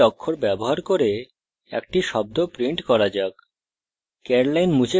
কয়েকটি অক্ষর ব্যবহার করে একটি শব্দ print করা যাক